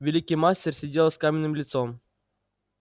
великий мастер сидел с каменным лицом